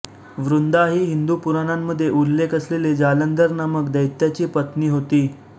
वृंदा ही हिंदू पुराणांमध्ये उल्लेख असलेली जालंधर नामक दैत्याची पत्नी होती